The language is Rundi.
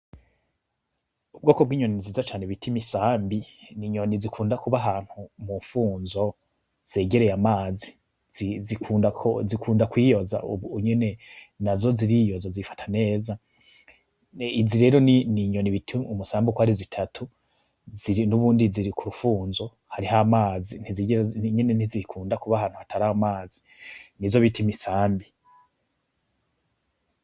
Ubwo kubwo inyoni ziza cane bitim isambi ni inyoni zikunda kuba hantu mu mfunzo zegereye amazi zikunda kwiyoza, ubu unyene na zo ziriyoza zifata neza izi rero ni ni inyoni bitie umusambi ukoari zitatu ziri n'ubundi ziri ku rufunzo rih amazi ntizigira inyene ntizikunda kuba hantu hatari amazi ni zo bita imisambi.